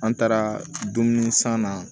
An taara dumuni san na